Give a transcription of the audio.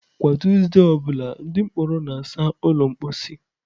Kwa Tuesday ọ bụla, ndị mkpọrọ na-asa ụlọ mposi.